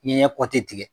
Ɲɛ kɔti tigɛ